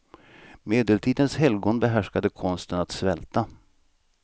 Medeltidens helgon behärskade konsten att svälta.